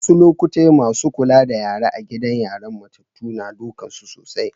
Wassu lokatai massun Kulla da yara a'gidan yaran matatu na dukan su sosai.